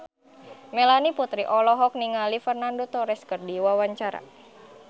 Melanie Putri olohok ningali Fernando Torres keur diwawancara